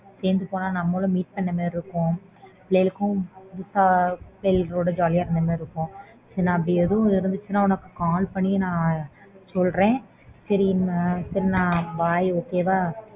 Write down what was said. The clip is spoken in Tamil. சேர்ந்து போனா நம்மளும் meet பண்ண மாதிரி இருக்கும் பிள்ளைகளும் புதுசா புள்ளைங்களோட jolly யா இருந்த மாதிரி இருக்கும்